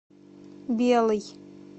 белый